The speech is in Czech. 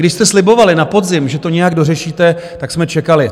Když jste slibovali na podzim, že to nějak dořešíte, tak jsme čekali.